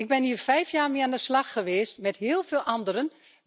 Ik ben hier vijf jaar mee aan de slag geweest met heel veel anderen.